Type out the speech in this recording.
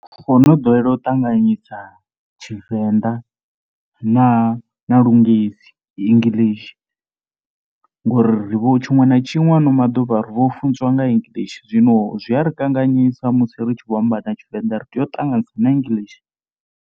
Ro no ḓowela u ṱanganyisa Tshivenḓa na na lungesi English ngori ri vho, tshiṅwe na tshiṅwe ha ano maḓuvha ri vho funziwa nga English zwino zwi a ri kanganyisa musi ri tshi vho amba na Tshivenḓa ri tea u ṱanganyisa na English.